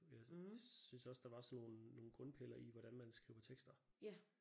Jeg syntes også der var sådan nogle nogle grundpiller i hvordan man skriver tekster